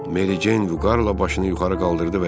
Mary Jane vüqarla başını yuxarı qaldırdı və dedi: